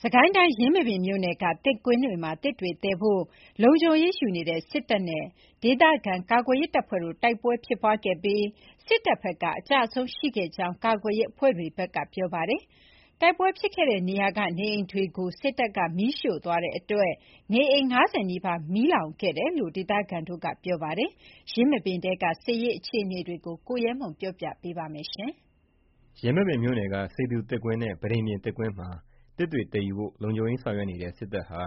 စစ်ကိုင်းတိုင်း ယင်းမာပင်မြို့နယ်က သစ်ကွင်းတွေမှာ သစ်တွေသယ်ယူဖို့ လုံခြုံရေးယူနေတဲ့ စစ်တပ်နဲ့ ဒေသခံကာကွယ်ရေးတပ်ဖွဲ့တို့တိုက်ပွဲဖြစ်ခဲ့ပြီး စစ်တပ်ဘက်က အကျအဆုံးရှိခဲ့တယ်လို့ ကာကွယ်ရေးအဖွဲ့တွေက ပြောပါတယ်။ တိုက်ပွဲဖြစ်ခဲ့တဲ့နေရာကနေအိမ်တွေကိုလည်း စစ်တပ်က မီးရှို့သွားလို့ နေအိမ် ၅၀ နီးပါး မီးလောင်ကျွမ်းခဲ့တယ်လို့ ဒေသခံတွေက ပြောပါတယ်။ ယင်းမာပင်ထဲက စစ်ရေး အခြေအနေတွေကို ကိုရဲမွန်က တင်ပြပေးထားပါတယ်။ ယင်းမာပင်မြို့နယ်က စေသူသစ်ကွင်းနဲ့ ပန်းတိန်ပြင်သစ်ကွင်းမှာ သစ်သယ်ဖို့ လုံခြုံရေးယူနေတဲ့ စစ်တပ်ဟာ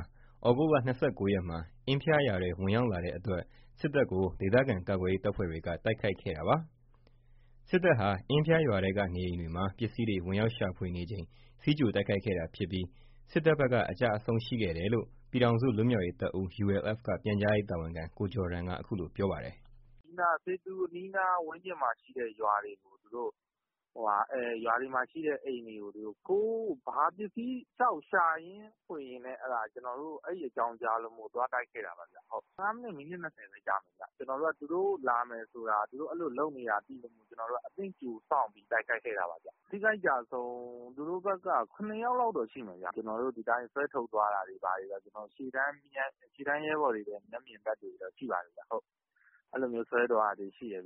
သြဂုတ် ၂၉ ရက်မှာ အင်ဖျားရွာထဲ ဝင်ရောက်လာချိန်မှာ ဒေသခံကာကွယ်ရေး တပ်ဖွဲ့တွေက တိုက်ခိုက်ခဲ့တာပါ။ စစ်တပ်ဟာ အင်းဖျားရွာထဲကအိမ်တွေထဲဝင်ပြီး ပစ္စည်းတွေရှာဖွေနေချိန်တိုက်ခိုက်ခဲ့တာဖြစ်ပြီး စစ်တပ်ဘက်က အကျအဆုံးရှိခဲ့တယ်လို့ ပြည်ထောင်စု လွတ်မြောက်ရေးတပ်ဦး က ပြန်ကြားရေး တာဝန်ခံ ကိုဂျော်ဒန်က အခုလို ပြောပါတယ်။ “စေသူအနီးနားဝန်းကျင်မှာရှိတဲ့ရွာတွေ ရွာတွေမှာရှိတဲ့အိမ်တွေကို ပစ္စည်းတွေလျှောက်ရှာဖွေရင်း အဲ့အကြောင်းကြားလို့ သွားတိုက်ခဲ့တာပါ။ ၁၅ မိနစ်၊ မိနစ် ၂၀ လောက်ကြာမယ်။ သူတို့လာမယ်ဆိုတာ အဲ့လိုလုပ်နေတာသိလို့ အသင့်ကြိုစောင့်ပြီး တိုက်ခိုက်ခဲ့တာပါ။ ထိခိုက် အကျအဆုံးက သူတို့ဘက်က ၇ ယောက်လောက်တော့ ရှိမယ်။ ဒီအတိုင်းဆွဲထုတ်သွားတာတွေဘာတွေ ရှေ့တန်းရဲဘော်တွေ မျက်မြင် သက်သေတွေတော့ ရှိပါတယ်။ အဲ့လိုဆွဲသွားတာတွေရှိတယ်။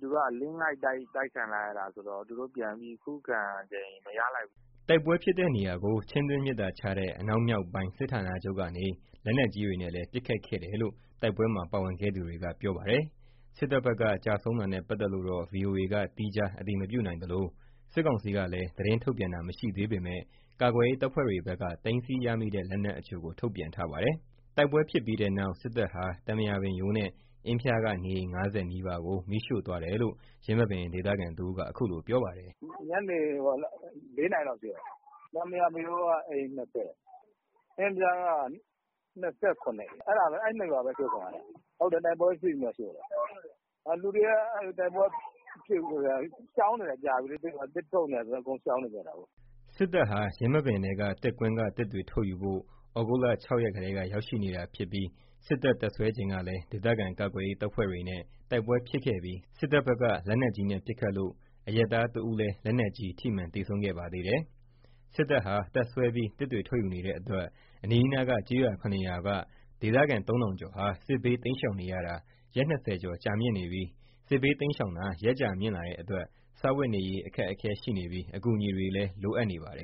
သူတို့အလစ်အငိုက်တိုက်ခံရတာဆိုတော့ ပြန်ပြီးခုခံချိန်မရလိုက်ဘူး။” တိုက်ပွဲဖြစ်တဲ့နေရာကို ချင်းတွင်းမြစ်သာခြားတဲ့ အနောက်မြောက်တိုင်းစစ်ဌာနချုပ်ကနေ လက်နက်ကြီးတွေနဲ့လည်း ပစ်ခတ်ခဲ့တယ်လို့ တိုက်ပွဲမှာ ပါဝင်ခဲ့သူတွေက ပြောပါတယ်။ စစ်တပ်ဘက်က ကျဆုံးတာနဲ့ပတ်သက်လို့တော့ ဗွီအိုအေက သီးခြားအတည်မပြုနိုင်သလို စစ်ကောင်စီကလည်း သတင်းထုတ်ပြန်တာမရှိသေးပေမယ့် ကာကွယ်ရေးတပ်ဖွဲ့တွေဘက်က သိမ်းဆည်းရမိတဲ့ လက်နက်အချို့ကို ထုတ်ပြန်ထားပါတယ်။ တိုက်ပွဲဖြစ်ပြီးတဲ့နောက် စစ်တပ်ဟာ သံပရာပင်ရိုး နဲ့ အင်းဖျားက နေအိမ် ၅၀ နီးပါးကို မီးရှို့သွားတယ်လို့ ယင်းမာပင် ဒေသခံတဦးက အခုလို ပြောပါတယ်။ “ညနေ ၄ နာရီလောက်ရှို့တာ။ သံပရာပင်မရိုးက အိမ် ၂၀ အင်ဖျားက ၂၇ အိမ် အဲ့ ၂ ရွာပဲ အရှို့ခံရတာ။ ဟုတ်တယ် တိုက်ပွဲဖြစ်ပြီးမှရှို့တာ။ လူတွေက တိုက်ပွဲမဖြစ်ခင်ကတည်းက ရှောင်နေတာလေ။ သစ်ထုတ်နေတာဆိုတော့ အကုန်ရှောင်နေတာ။” စစ်တပ်ဟာ ယင်းမာပင်ထဲက သစ်ကွင်းက သစ်တွေထုတ်ယူဖို့ သြဂုတ်လ ၆ ရက်ကတည်းက ရောက်ရှိနေတာဖြစ်ပြီး စစ်တပ် တပ်စွဲချိန်ကလည်း ဒေသခံကာကွယ်ရေးတပ်ဖွဲ့တွေနဲ့ တိုက်ပွဲ ဖြစ်ခဲ့ပြီး စစ်တပ်ဘက်က လက်နက်ကြီးပစ်ခတ်လို့ အရပ်သားတဦးလည်း ထိမှန် သေဆုံးခဲ့သေးတယ်။ စစ်တပ်ဟာ တပ်စွဲပြီး သစ်တွေထုတ်ယူနေတဲ့အတွက် အနီးနားက ကျေးရွာ ၇ ရွာက ဒေသခံ ၃ ထောင်ကျော်ဟာ စစ်ဘေးတိမ်းရှာင်နေရတာ ရက် ၂၀ ကျော် ကြာနေပါပြီ။ စစ်ဘေးတိမ်းရှောင်တာ ရက်ကြာမြင့်လာတာနဲ့အမျှ စားဝတ်နေရေး အခက်အခဲရှိနေပြီး အကူအညီတွေလည်း လိုအပ်နေပါတယ်